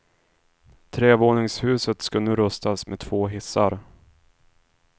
Trevåningshuset ska nu rustas med två hissar.